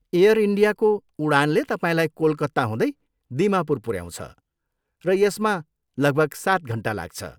Air इन्डियाको उडानले तपाईँलाई कोलकाता हुँदै दिमापुर पुऱ्याउँछ र यसमा लगभग सात घन्टा लाग्छ।